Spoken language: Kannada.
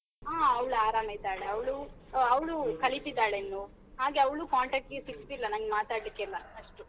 ಹ ಅವ್ಳ ಆರಾಮಿದಾಳೆ ಅವ್ಳು ಆ ಅವ್ಳು ಕಲಿತಿದ್ದಾಳೆ ಇನ್ನು ಹಾಗೆ ಅವ್ಳು contact ಗೆ ಸಿಗ್ತಿಲ್ಲ ನಂಗ್ ಮಾತಾಡ್ಲಿಕ್ಕೆಲ್ಲ ಅಷ್ಟು.